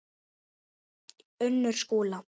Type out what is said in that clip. Unnur Skúla.